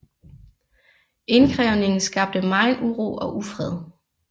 Indkrævningen skabte megen uro og ufred